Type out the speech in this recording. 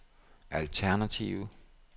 alternative